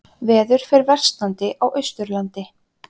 Veður fer versnandi á Austurlandi